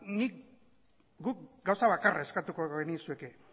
guk gauza bakarra eskatuko genizueke